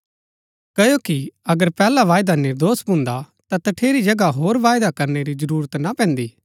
क्ओकि अगर पैहला वायदा निर्दोष भुन्दा ता तठेरी जगह होर वायदा करनै री जरूरत ना पैन्दी